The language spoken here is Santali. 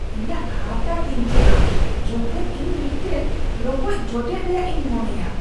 ᱤᱧᱟᱹᱜ ᱦᱟᱨᱛᱟ ᱛᱤᱧᱡᱟᱹᱜᱼᱟ ᱡᱚᱠᱷᱮᱡ ᱤᱧ ᱢᱤᱫᱴᱟᱝ ᱨᱚᱠᱚᱡ ᱡᱚᱴᱮᱫ ᱨᱮᱭᱟᱜ ᱤᱧ ᱢᱚᱱᱮᱭᱟ ᱾